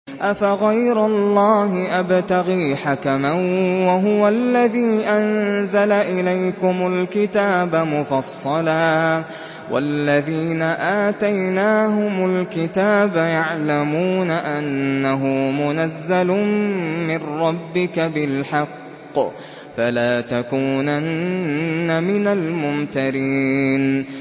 أَفَغَيْرَ اللَّهِ أَبْتَغِي حَكَمًا وَهُوَ الَّذِي أَنزَلَ إِلَيْكُمُ الْكِتَابَ مُفَصَّلًا ۚ وَالَّذِينَ آتَيْنَاهُمُ الْكِتَابَ يَعْلَمُونَ أَنَّهُ مُنَزَّلٌ مِّن رَّبِّكَ بِالْحَقِّ ۖ فَلَا تَكُونَنَّ مِنَ الْمُمْتَرِينَ